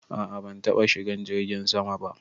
A'a ban taba shigan jirgin sama ba.